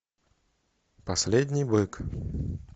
последний бык